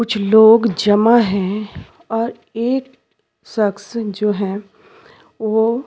कुछ लोग जमा है और एक सक्स जो है वो--